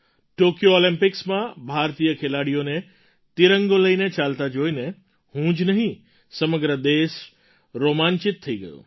Tokyo ઑલિમ્પિક્સમાં ભારતીય ખેલાડીઓને તિરંગો લઈને ચાલતા જોઈને હું જ નહીં સમગ્ર દેશ રોમાંચિત થઈ ગયો